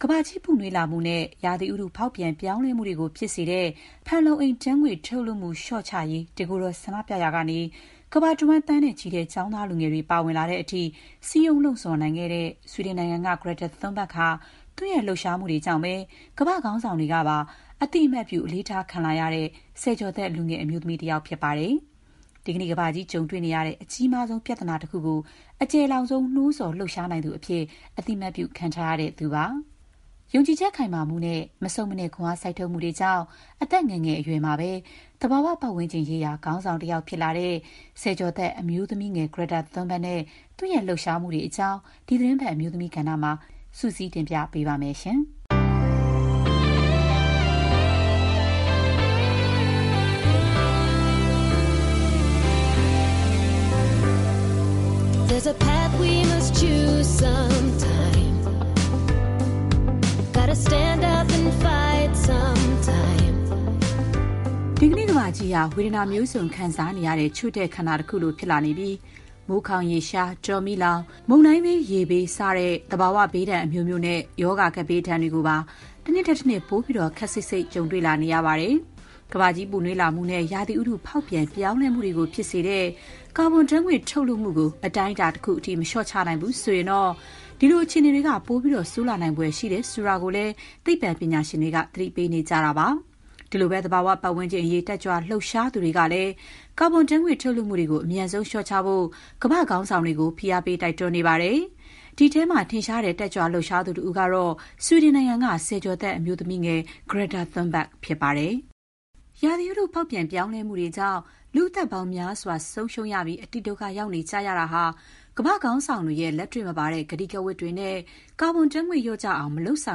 ကမ္ဘာကြီးပူနွေးမှုနဲ့ ရာသီဥတု ဖောက်ပြန်ပြောင်းလဲမှုတွေကို ဖြစ်စေတဲ့ ဖန်လုံအိမ်ဓာတ်ငွေ့ ထုတ်လွှတ်မှု လျှော့ချရေး တကိုယ်တော်ဆန္ဒပြရာကနေ ကမ္ဘာတဝှမ်း သန်းနဲ့ချီတဲ့ ကျောင်းသားလူငယ်တွေ ပါဝင်လာတဲ့အထိ စည်းရုံး လှုံ့ဆော် နိုင်ခဲ့တဲ့ ဆွီဒင်နိုင်ငံက Greta Thunberg ဟာ သူ့ရဲ့ လှုပ်ရှားမှုတွေကြောင့် ကမ္ဘာ့ခေါင်းဆောင်တွေကပါ အသိအမှတ်ပြု အလေးထားခံလာရတဲ့ ဆယ်ကျော်သက် လူငယ်အမျိုးသမီး တဦးပဲဖြစ်ပါတယ်။ ဒီကနေ့ ကမ္ဘာကြီးကြုံတွေ့နေရတဲ့ အကြီးမားဆုံးပြဿနာတခုကို အကျယ်လောင်ဆုံး နိုးဆော် လှုပ်ရှား နိုင်သူအဖြစ် အသိအမှတ်ပြု ခံထားရသူလည်း ဖြစ်ပါတယ်။ ယုံကြည်ချက်ခိုင်မာမှုနဲ့ မဆုတ်မနစ် ခွန်အားစိုက်ထုတ်မှုတွေကြောင့် အသက်ငယ်ငယ်အရွယ်မှာပဲ သဘာဝပတ်ဝန်းကျင်ရေးရာ ခေါင်းဆောင်တယောက် ဖြစ်လာတဲ့ ဆယ်ကျော်သက် အမျိုးသမီးငယ် Greta Thunberg နဲ့ သူ့ရဲ့လှုပ်ရှားမှုတွေအကြောင်း ဒီသီတင်းပတ် အမျိုးသမီးကဏ္ဍမှာ မခင်ဖြူထွေးက စုစည်းတင်ပြထားပါတယ်။ ဒီကနေ့ ကမ္ဘာကြီးဟာ ဝေဒနာမျိုးစုံ ခံစားနေရတဲ့ ချို့တဲ့ ခန္ဓာ တခုလိုဖြစ်လာနေပြီး မိုးခေါင်ရေရှား၊ တောမီးလောင်၊ မုန်တိုင်းဘေး ရေဘေးသင့် စသဖြင့် သဘာဝဘေးဒဏ် အမျိုးမျိုးနဲ့ ရောဂါကပ်ဘေး ဒဏ်တွေကိုပါ တနှစ်ထက်တနှစ် ပိုပြီးတော့ ခပ်စိပ်စိပ် ကြုံတွေ့လာနေရပါတယ်။ ကမ္ဘာကြီး ပူနွေးလာမှုနဲ့ ရာသီဥတု ဖောက်ပြန်ပြောင်းလဲမှုတွေကို ဖြစ်စေတဲ့ ကာဘွန်ဓာတ်ငွေ့ ထုတ်လွှတ်မှုတွေကို အတိုင်းအတာတခုအထိ မလျှော့ချနိုင်ဘူးဆိုရင်တော့ ဒီလို အခြေအနေတွေက ပိုပြီးတော့ ဆိုးရွားလာဖို့သာ ရှိတယ်ဆိုတာကိုလည်း သိပ္ပံပညာရှင်တွေက သတိပေးနေကြတာပါ။ ဒီလိုပဲ သဘာဝပတ်ဝန်းကျင်အရေး တက်ကြွ လှုပ်ရှားသူတွေကလည်း ကာဘွန်ဓာတ်ငွေ့ ထုတ်လွှတ်မှုတွေကို အမြန်ဆုံး လျှော့ချဖို့ ကမ္ဘာ့ခေါင်းဆောင်တွေကို ဖိအားပေး တိုက်တွန်းနေကြပါတယ်။ ဒီအထဲမှာ ထင်ရှားတဲ့ တက်ကြွလှုပ်ရှားသူတဦးကတော့ ဆွီဒင်နိုင်ငံက ဆယ်ကျော်သက် အမျိုးသမီးလူငယ် Greta Thunberg ပဲ ဖြစ်ပါတယ်။ ဥတုရာသီဖောက်ပြန် ပြောင်းလဲမှုတွေကြောင့် လူ့ အသက်ပေါင်းများစွာ ဆုံးရှုံးရပြီး အတိဒုက္ခ ရောက်နေကြရတာဟာ ကမ္ဘာ့ခေါင်းဆောင်တွေရဲ့ လက်တွေ့မပါတဲ့ ကတိကဝတ်တွေနဲ့ ကာဘွန်ဓာတ်ငွေ့ လျော့ကျအောင် မလုပ်ဆော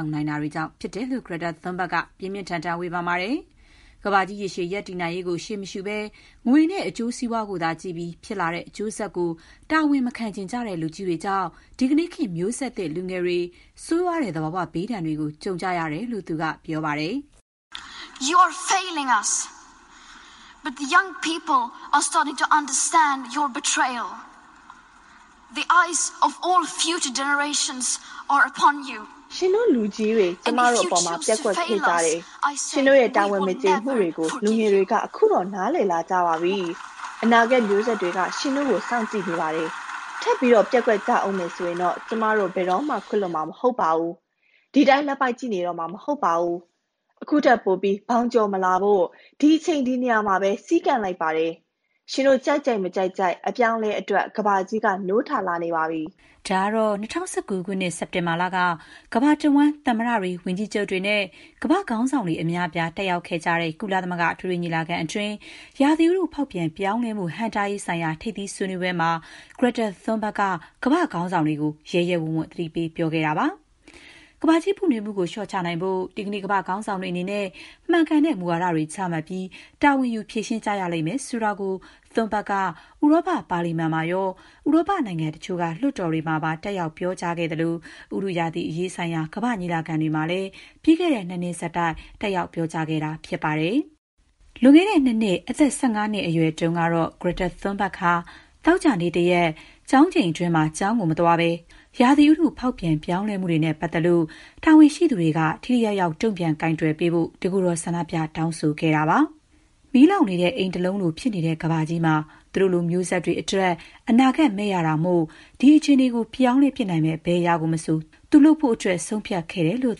င်နိုင်တာကြောင့် ဖြစ်တယ်လို့ Greta Thunberg က ပြင်းပြင်းထန်ထန် ဝေဖန်ပါတယ်။ ကမ္ဘာကြီး ရေရှည် တည်တံ့ရေးကို ရှေးမရှုဘဲ ငွေနဲ့ အကျိုးစီးပွားကိုသာ ကြည့်ပြီး ဖြစ်လာတဲ့အကျိုးဆက်ကို တာဝန်မခံချင်ကြတဲ့ လူကြီးတွေကြောင့် ဒီကနေ့ခေတ် မျိုးဆက်လူငယ်တွေဟာ ဆိုးရွားတဲ့ သဘာဝဘေးဒဏ်တွေကို ကြုံကြရတယ်လို့ သူက ပြောပါတယ်။ “ ရှင်တို့လူကြီးတွေ ကျမတို့အပေါ်မှာ ပျက်ကွက်ခဲ့ကြတယ်။ ရှင်တို့ရဲ့ တာဝန်မကျေမှုတွေကို လူငယ်တွေက ခုတော့ နားလည်လာကြပါပြီ။ အနာဂတ်မျိုးဆက်တွေက ရှင်တို့ကို စောင့်ကြည့်နေကြပါတယ်။ ထပ်ပြီး ပျက်ကွက်ကြဦးမယ် ဆိုရင်တော့ ကျမတို့ ဘယ်တော့မှခွင့်လွှတ်မှာ မဟုတ်ပါဘူး။ ဒီအတိုင်း လက်ပိုက်ကြည့်နေတော့မှာ မဟုတ်ပါဘူး။ ခုထက်ပိုပြီး ဘောင်ကျော်မလာဖို့ ဒီအချိန် ဒီနေရာမှာပဲ စည်းကန့်လိုက်ပါတယ်။ ရှင်တို့ ကြိုက်ကြိုက် မကြိုက်ကြိုက် အပြောင်းအလဲ အတွက် ကမ္ဘာကြီးက နိုးထလာနေပါပြီ။'' ဒါကတော့ ၂၀၁၉ ခုနှစ် စက်တင်ဘာလက ကမ္ဘာတဝှမ်း သမ္မတတွေ၊ ဝန်ကြီးချုပ်တွေနဲ့ ကမ္ဘာ့ခေါင်းဆောင်တွေ အများအပြား တက်ရောက်ခဲကြတဲ့ ကုလသမဂ္ဂ အထွေထွေ ညီလာခံအတွင်း ရာသီဥတု ဖောက်ပြန်ပြောင်းလဲမှု ဟန့်တားရေးဆိုင်ရာ ထိပ်သီးဆွေးနွေးပွဲမှာ Greta Thunberg က ကမ္ဘာ့ခေါင်းဆောင်တွေကို ရဲရဲဝံ့ဝံ့ သတိပေး ပြောဆိုခဲ့တာပါ။ ကမ္ဘာကြီးပူနွေးမှုကို လျှော့ချနိုင်ဖို့ ဒီကနေ့ ကမ္ဘာ့ခေါင်းဆောင်တွေ အနေနဲ့ မှန်ကန်တဲ့မူဝါဒတွေ ချမှတ်ပြီး တာဝန်ယူဖြေရှင်းကြရလိမ့်မယ် ဆိုတာကို Greta Thunberg က ဥရောပ ပါလီမန်မှာရော၊ ဥရောပနိုင်ငံတချို့က လွှတ်တော်တွေမှာပါ တက်ရောက် ပြောကြားခဲ့သလို၊ ဥတုရာသီအရေးဆိုင်ရာ ကမ္ဘာ့ညီလာခံတွေမှာလည်း ပြီးခဲ့တဲ့ ၂ နှစ်ဆက်တိုက် တက်ရောက် ပြောကြားခဲ့တာဖြစ်ပါတယ်။ လွန်ခဲ့တဲ့ ၂ နှစ်၊ အသက် ၁၅ နှစ်အရွယ်တုန်းကတော့ Greta Thunberg ဟာ သောကြာနေ့ တရက်၊ ကျောင်းချိန်အတွင်းမှာ ကျောင်းမသွားဘဲ ဆွီဒင်ပါလီမန်ရှေ့ သွားပြီး ရာသီဥတု ဖောက်ပြန်ပြောင်းလဲမှုတွေနဲ့ ပတ်သက်လို့ တာဝန်ရှိသူတွေက ထိထိရောက်ရောက် တုံ့ပြန်ကိုင်တွယ်ဖို့ တကိုယ်တော် ဆန္ဒပြ တောင်းဆိုခဲ့ပါတယ်။ မီးလောင်နေတဲ့အိမ်တလုံးလို ဖြစ်နေတဲ့ကမ္ဘာကြီးမှာ သူတို့လိုမျိုးဆက်တွေအတွက် အနာဂတ်မဲ့ရတာမို့ ဒီအခြေအနေကို ပြောင်းလဲနိုင်မယ့် ဘယ်အရာမဆို သူ လုပ်ဖို့ ဆုံးဖြတ်ခဲ့တယ်လို့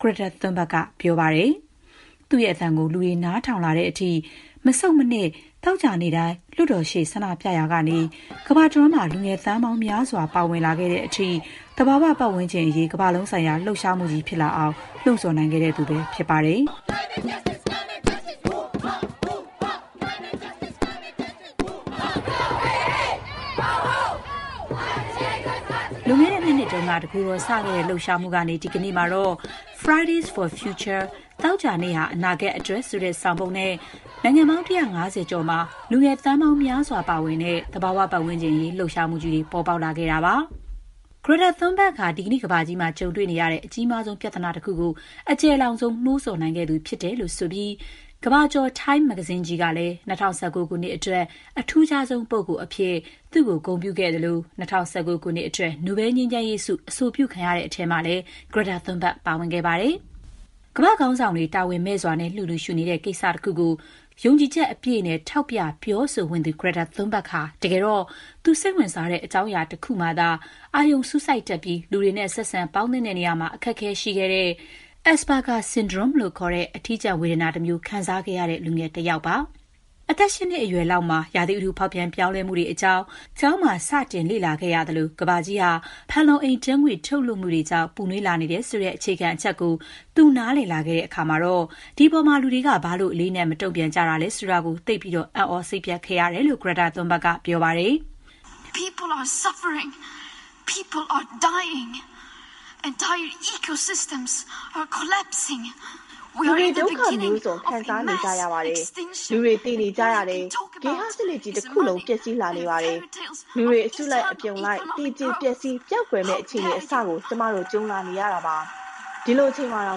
Greta Thunberg က ပြောပါတယ်။ သူ့အသံကို လူတွေ နားထောင်လာတဲ့အထိ မဆုတ်မနစ် သောကြာနေ့တိုင်း လွှတ်တော်ရှေ့ ဆန္ဒပြခဲ့ရာကနေ ကမ္ဘာတဝန်း လူငယ်တွေ သန်းပေါင်းများစွာ ပါဝင်လာတဲ့အထိ သဘာဝပတ်ဝန်းကျင်အရေး ကမ္ဘာလုံးဆိုင်ရာ လှုပ်ရှားမှုကြီး ဖြစ်လာအောင် လှုံ့ဆော်နိုင်ခဲ့သူ ဖြစ်ပါတယ်။ လွန်ခဲ့တဲ့ ၂ နှစ်က တကိုယ်တော်စခဲ့တဲ့ လှုပ်ရှားမှုဟာ ဒီကနေ့မှာတော့ “Friday’s for Future” သောကြာနေ့ဟာ အနာဂတ်အတွက် ဆိုတဲ့ဆောင်ပုဒ်နဲ့ နိုင်ငံပေါင်း ၁၅၀ ကျော်မှာ လူတွေသန်းပေါင်း များစွာပါဝင်တဲ့ လှုပ်ရှားမှုကြီးတွေ ပေါ်ပေါက်လာခဲ့ပါတယ်။ Greta Thunberg ဟာ ဒီကနေ့ကမ္ဘာကြီး ကြုံနေရတဲ့ အကြီးမားဆုံး ပြဿနာတခုကို အကျယ်လောင်ဆုံး နိုးဆော်နိုင်ခဲ့သူဖြစ်တယ်လို့ ဆိုပြီး ကမ္ဘာကျော် Times မဂ္ဂဇင်းကြီးက ၂၀၁၉ ခုနှစ်အတွက် အထူးခြားဆုံး လူပုဂ္ဂိုလ်အဖြစ် သူ့ကို ဂုဏ်ပြု ခဲ့သလို၊ ၂၀၁၉ နိုဘဲလ် ငြိမ်းချမ်းရေးဆုအတွက် အဆိုပြုခံရတဲ့အထဲမှာလည်း Greta Thunberg ပါဝင်ခဲ့ပါတယ်။ ကမ္ဘာ့ခေါင်းဆောင်တွေ တာဝန်မဲ့စွာ လစ်လျူရှုနေတဲ့ ကိစ္စတခုကို ယုံကြည်ချက်အပြည့်နဲ့ ထောက်ပြ ပြောဆိုဝံ့သူ Greta Thunberg ဟာ တကယ်တော့ သူ စိတ်ဝင်စားတဲ့ အကြောင်းအရာတခုမှာသာ အာရုံစူးစိုက်နေတတ်ပြီး လူတွေနဲ့ ဆက်ဆံပေါင်းသင်း ဆက်ဆံရာမှာ အခက်အခဲရှိတဲ့ Asperger syndrome လို့ခေါ်တဲ့ ဝေဒနာတမျိုး ခံစားခဲ့ရတဲ့ လူငယ်တယောက်ပါ။ အသက် ၈ နှစ်အရွယ်လောက်မှာ ရာသီဥတုဖောက်ပြန် ပြောင်းလဲမှုတွေအကြောင်းကို ကျောင်းမှာ စတင်လေ့လာရပြီး ကမ္ဘာကြီးဟာ ဖန်လုံအိမ်ဓာတ်ငွေ့ ထုတ်လွှတ်မှုတွေကြောင့် ပူနွေးလာနေတယ်ဆိုတဲ့ အခြေခံအချက်ကို သူ နားလည်လာတဲ့အခါမှာတော့ ဒီအပေါ်မှာ လူတွေက ဘာလို့ အလေးအနက်ထား မတုံ့ပြန်ကြတာလဲဆိုတာ နားမလည်နိုင်အောင် သိပ်ကို အံ့သြ စိတ်ပျက်ခဲ့ရတယ်လို့ Greta Thunberg က ပြောပါတယ်။ သူ့အတွက်ကတော့ ဒါက ဘယ်လိုမှ လစ်လျူရှု မရခဲ့တာကြောင့် တကိုယ်တော် ဆန္ဒပြဖို့အထိ ဖြစ်ခဲ့တာလို့ ပြောပါတယ်။ ''လူတွေ ဒုက္ခမျိုးစုံ ခံစားနေကြရပါတယ်။ လူတွေ သေနေကြရပါတယ်။ ဂေဟစနစ်ကြီး တခုလုံး ပျက်စီးလာနေပါတယ်။ လူတွေ အစုလိုက် အပြုံလိုက် သေကြေ ပျက်စီး ပျောက်ကွယ်မယ့် အခြေအနေ အစကို ကျမတို့ ကြုံလာနေရတာပါ။ ဒီလိုအချိန်မှာတော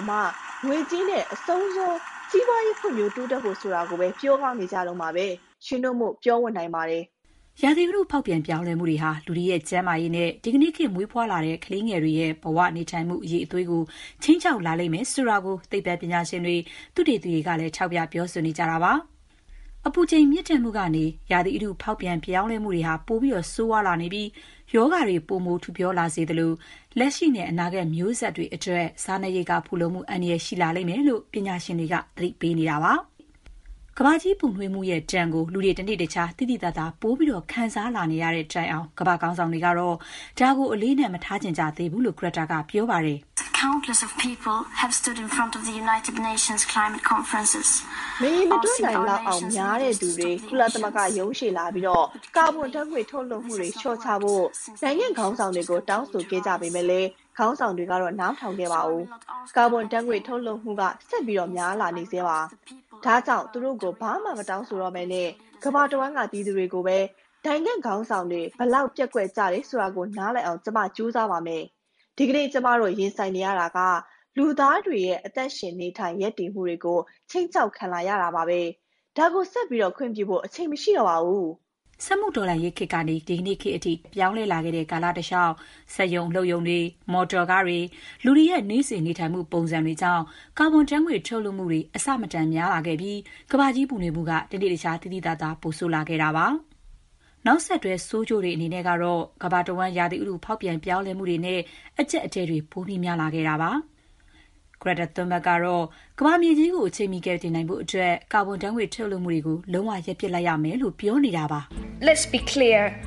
င် ငွေကြေးနဲ့ အဆုံးစွန် စီးပွားရေးဖွံ့ဖြိုး တိုးတက်ဖို့ ဆိုတာတွေကိုပဲ ပြောကောင်းနေကြတုန်းပဲ။ ရှင်တို့မို့ ပြောဝံ့နိုင်ကြပါတယ်။” ရာသီဥတု ဖောက်ပြန်ပြောင်းလဲမှုတွေဟာ လူတွေရဲ့ ကျန်းမာရေးနဲ့ ဒီကနေ့ ခေတ်မွေးဖွားတဲ့ ကလေးငယ်တွေရဲ့ ဘဝနေထိုင်မှု အရည်အသွေးကို ခြိမ်းခြောက်လာလိမ့်မယ်ဆိုတာကို သိပ္ပံပညာရှင်တွေ၊ သုတေသီတွေကလည်း ထောက်ပြ ပြောဆိုနေကြတာပါ။ အပူချိန်မြင့်တက်မှုကနေ ရာသီဥတု ဖောက်ပြန်မှုတွေ ပိုဆိုးလာပြီး ရောဂါတွေ ပိုမို ထူပြောလာစေသလို၊ လက်ရှိနဲ့ အနာဂတ်မျိုးဆက် တွေအတွက် စားနပ်ရိက္ခာဖူလုံမှု အန္တရာယ်ရှိလာမယ်လို့ ပညာရှင်တွေက သတိပေးပါတယ်။ ကမ္ဘာကြီးပူနွေးမှုရဲ့ ဒဏ်ကို လူတွေ တနေ့တခြား သိသိသာသာ ပိုပြီး ခံစားလာနေရတဲ့တိုင်အောင် ကမ္ဘာ့ခေါင်းဆောင်တွေ ကတော့ ဒါကို အလေးအနက် မထားချင်ကြသေးဘူးလို့ Greta Thunberg က ပြောပါတယ်။ “မရေမတွက်နိုင်လောက်အောင် များတဲ့သူတွေ ကုလသမဂ္ဂရုံးရှေ့လာပြီး ကာဗွန်ဓာတ်ငွေ့ ထုတ်လွှတ်မှုတွေ လေ ျှာ့ချဖို့ နိုင်ငံ့ခေါင်းဆောင်တွေကို နှစ်များစွာ တောင်းဆိုခဲ့ကြပေမဲ့၊ ခေါင်းဆောင်တွေကတော့ နားမထောင်ခဲ့ပါဘူး။ ကာဗွန်ဓာတ်ငွေ့ ထုတ်လွှတ်မှုက ဆက်ပြီးများလာနေဆဲပါ။ ဒါကြောင့် သူတို့ကို ဘာမှမတောင်းဆိုတော့ဘဲ ကမ္ဘာတဝှမ်းက ပြည်သူတွေကိုပဲ နိုင်ငံ့ခေါင်းဆောင်တွေ ဘယ်လောက် ပျက်ကွက်ကြတယ်ဆိုတာ နားလည်အောင် ကျမ ကြိုးစားပါမယ်။ ဒီကနေ့ ကျမတို့ ရင်ဆိုင်နေရတာက လူသားတွေရဲ့ အသက်ရှင်နေထိုင် ရပ်တည်မှုတွေကို ခြိမ်းခြောက်ခံလာနေရတာပါ။ ဒါကို ဆက်ပြီး ခွင့်ပြုဖို့ အချိန်မရှိတော့ပါဘူး။” စက်မှုတော်လှန်ရေးခေတ်ကနေ ဒီကနေ့ခေတ်အထိ ပြောင်းလဲလာခဲ့တဲ့ ကာလတလေ ျှာက် စက်ရုံ အလုပ်ရုံတွေ၊ မော်တော်ကားတွေနဲ့ လူတွေရဲ့ နေ့စဉ် နေထိုင်မှု ပုံစံတွေကြောင့် ကာဗွန်ဓာတ်ငွေ့ ထုတ်လွှတ်မှုတွေ အဆမတန် များလာခဲ့ပြီး ကမ္ဘာကြီး ပူနွေးမှုက တနေ့တခြား သိသိသာသာ ပိုဆိုးလာခဲ့တာပါ။ နောက်ဆက်တွဲ ဆိုးကျိုးတွေကတော့ ကမ္ဘာတဝှမ်း ရာသီဥတုဖောက်ပြန်ပြောင်းလဲမှုတွေနဲ့ အကျပ်အတည်းတွေ ပိုများလာတာပါ။ Greta Thunberg ကတော့ ကမ္ဘာမြေကြီးကို အချိန်မီကယ်တင်နိုင်ဖို့အတွက် ကာဗွန်ဓာတ်ငွေ့ ထုတ်လွှတ်မှုကို လုံးဝ ရပ်ပစ်ရလိမ့်မယ်လို့ ပြောပါတယ်။ "ရှင်းရှင်းပြောပါမယ်။ ကာဗွန်ဓာတ်ငွေ့ ထုတ်လွှတ်မှုန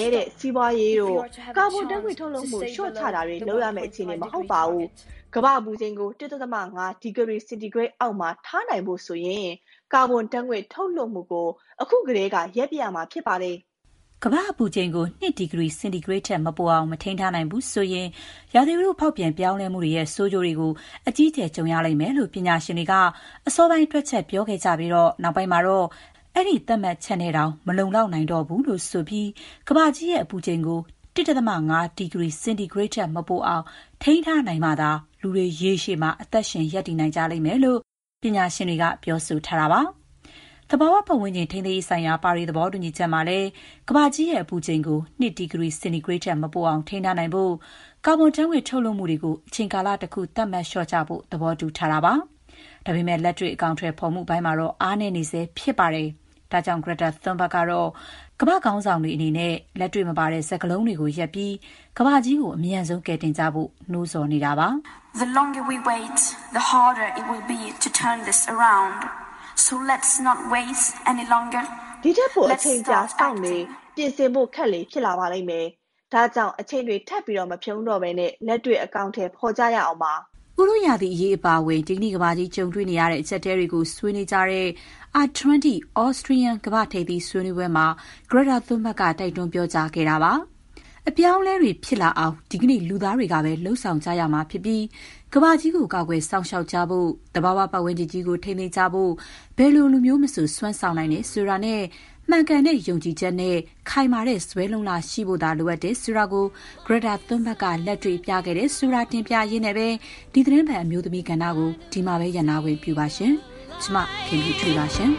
ည်းတဲ့ စီးပွားရေးတို့၊ ကာဗွန်ဓာတ်ငွေ့ ထုတ်လွှတ်မှု လေ ျှာ့ချတာတွေ လုပ်ရမယ့်အခြေအနေ မဟုတ်ပါဘူး။ ကမ္ဘာ့အပူချိန်ကို ၁.၅ ဒီဂရီ စင်တီဂရိတ်အောက်မှာ ထားနိုင်ဖို့ဆိုရင် ကာဗွန်ဓာတ်ငွေ့ ထုတ်လွှတ်မှုကို အခုကတည်းက ရပ်ပစ်ရမှာဖြစ်ပါတယ်။'' ကမ္ဘာ့အပူချိန်ကို ၂ ဒီဂရီ စင်တီဂရိတ်ထက် မပိုအောင် မထိန်းထားနိုင်ဘူးဆိုရင် ရာသီဥတု ဖောက်ပြန်ပြောင်းလဲမှုတွေရဲ့ ဆိုးကျိုးတွေကို အကြီးအကျယ်ကြုံရမယ်လို့ ပညာရှင်တွေက အစောပိုင်း တွက်ချက်ပြောခဲ့ကြပြီး၊ နောက်ပိုင်းမှာတော့ အဲ့ဒီသတ်မှတ်ချက်နဲ့ တောင် မလုံလောက်နိုင်တော့ဘူးလို့ ဆိုပြီး ကမ္ဘာကြီးရဲ့ အပူချိန်ကို ၁.၅ ဒီဂရီစင်တီဂရိတ်ထက် မပိုအောင် ထိန်းထားနိုင်မှသာ လူတွေ ရေရှည် အသက်ရှင် ရပ်တည်နိုင်လိမ့်မယ်လို့ ပညာရှင်တွေက ပြောဆိုထားကြပါတယ်။ သဘာဝပတ်ဝန်းကျင် ထိန်းသိမ်းရေးဆိုင်ရာ ပါရီသဘောတူညီချက်မှာလည်း ကမ္ဘာကြီးရဲ့အပူချိန်ကို ၂ ဒီဂရီ စင်တီဂရိတ်ထက်မပိုအောင် ထိန်းထားနိုင်ဖို့အတွက် ကာဗွန်ဓာတ်ငွေ့ ထုတ်လွှတ်မှုတွေ အချိန်ကာလတခု သတ်မှတ် လျှော့ချဖို့ သဘောတူထားပါတယ်။ ဒါပေမဲ့ လက်တွေ့ အကောင်အထည်ဖော်မှုတွေမှာတော့ အားနည်းနေဆဲဖြစ်ပါတယ်။ ဒါကြောင့် Greta Thunberg ကတော့ ကမ္ဘာ့ခေါင်းဆောင်တွေ အနေနဲ့ လက်တွေ့မပါတဲ့ စကားလုံးတွေကို ရပ်ပြီး ကမ္ဘာကြီးကို အမြန်ဆုံး ကယ်တင်ကြဖို့ နိုးဆော်နေတာပါ။ " ဒီ့ထက်ပို အချိန်ကြာစောင့်လေ... ပြင်ဆင်ဖို့ခက်လေ ဖြစ်လာပါလိမ့်မယ်။ ဒါကြောင့် အချိန်တွေ ထပ်မဖြုန်းတော့ဘဲ လက်တွေ့ အကောင်အထည် ဖော်ကြရအောင်ပါ။'' ဥတုရာသီအရေး အပါအဝင် ဒီကနေ့ကမ္ဘာကြီး ကြုံတွေ့နေရတဲ့ အကျပ်အတည်းတွေကို ဆွေနွေးကြတဲ့ R20 Austrian ကမ္ဘာ့ထိပ်သီးဆွေးနွေးပွဲမှာ Greta Thunberg က တိုက်တွန်းပြောကြားခဲ့တာပါ။ အပြောင်းအလဲတွေ ဖြစ်လာအောင် ဒီကနေ့ လူသားတွေကပဲ လုပ်ဆောင်ကြရမှာဖြစ်ပြီး ကမ္ဘာကြီးကို ကာကွယ်စောင့်ရှောက်ကြဖို့၊ သဘာဝပတ်ဝန်းကျင်ကြီးကို ထိန်းသိမ်းဖို့ ဘယ်လိုလူမျိုးမဆို စွမ်းဆောင်နိုင်တယ်ဆိုတာနဲ့ မှန်ကန်တဲ့ ယုံကြည်ချက်နဲ့ ခိုင်မာတဲ့ဇွဲလုံ့လသာ ရှိဖို လိုတယ်ဆိုတာကို Greta Thunberg က လက်တွေ့ ပြခဲ့တယ်ဆိုတာ တင်ပြရင်းနဲ့ပဲ ဒီသီတင်းပတ် အမျိုးသမီးကဏ္ဍကို ဒီမှာပဲရပ်နားခွင့် ပြုပါရှင်။ ကျမ ခင်ဖြူထွေးပါရှင်။